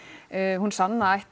hún sanna ætti